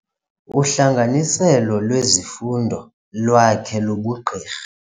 Uhlanganiselo lwezifundo lwakhe lobugqirha.